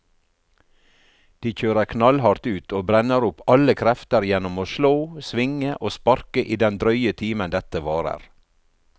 De kjører knallhardt ut og brenner opp alle krefter gjennom å slå, svinge og sparke i den drøye timen dette varer.